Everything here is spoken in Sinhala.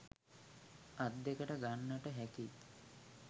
අත් දෙකට ගන්නට හැකි